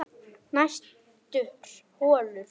Næstur holur